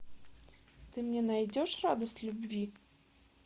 ты мне найдешь радость любви